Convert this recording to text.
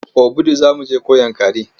Obudu za mu je ko Yankari?